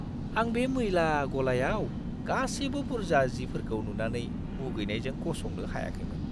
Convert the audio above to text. आं बे मैला गलायाव गासैबो बुरजा जिफोरखौ नुनानै मुगैनायजों गसंनो हायाखैमोन।